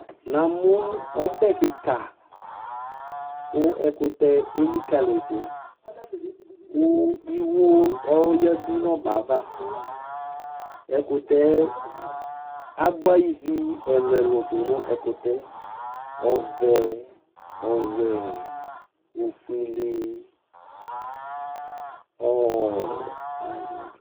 Namʋ ɔbɛ kika kʋ ɛkʋtɛ elikaliyi dʋ kʋ iwo yadʋ nʋ ɔbɛava abua ivi ɛlʋ ɛlʋ dʋnʋ ɛkʋtɛ ɔvɛ ɔwɛ ofuele